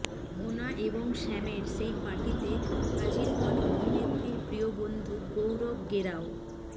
মোনা এবং শ্যামের সেই পার্টিতে হাজির হন অভিনেত্রীর প্রিয় বন্ধু গৌরব গেরাও